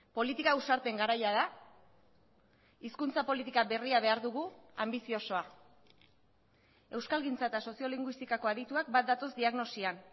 politika ausarten garaia da hizkuntza politika berria behar dugu anbiziosoa euskalgintza eta soziolinguistikako adituak bat datoz diagnosian